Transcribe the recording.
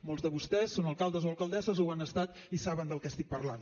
molts de vostès són alcaldes o alcaldesses o ho han estat i saben del que estic parlant